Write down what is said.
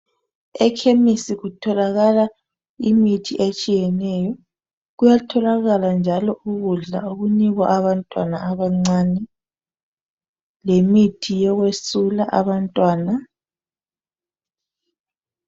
ekhemesi kutholakala imithi etshiyeneyo kuyatholakala njalo ukudla okunikwa abantwana abancane lemithi yokwesula abantwana